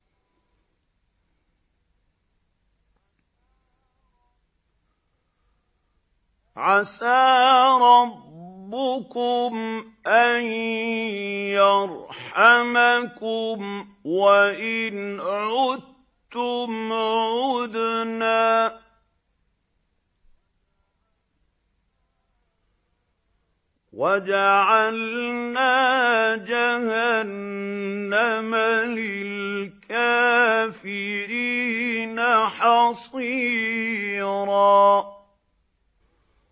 عَسَىٰ رَبُّكُمْ أَن يَرْحَمَكُمْ ۚ وَإِنْ عُدتُّمْ عُدْنَا ۘ وَجَعَلْنَا جَهَنَّمَ لِلْكَافِرِينَ حَصِيرًا